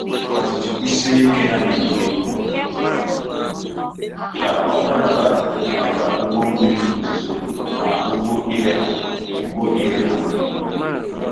Ọdịdị kwụsie ike ya na-eme ka ọ dabara maka ugbo mmiri ozuzo na ugbo irigha ugbo irigha mmiri.